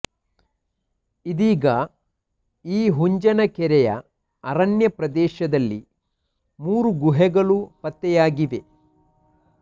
ಇದೀಗ ಈ ಹುಂಜನಕೆರೆಯ ಅರಣ್ಯ ಪ್ರದೇಶದಲ್ಲಿ ಮೂರು ಗುಹೆಗಳು ಪತ್ತೆಯಾಗಿವೆ